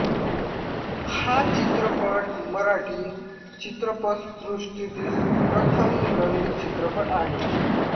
हा चित्रपट मराठी चित्रपसृष्टीतील प्रथम रंगीत चित्रपट आहे